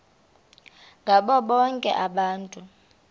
ngabo bonke abantu